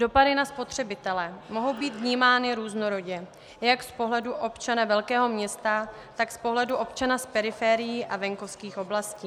Dopady na spotřebitele mohou být vnímány různorodě jak z pohledu občana velkého města, tak z pohledu občana z periferií a venkovských oblastí.